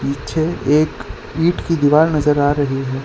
पीछे एक ईट की दीवाल नजर आ रही है।